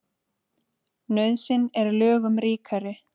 Nauðsyn er lögum ríkari.